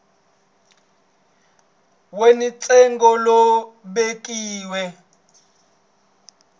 we ni ntsengo lowu vekiweke